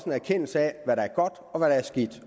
en erkendelse af hvad der er godt og hvad der er skidt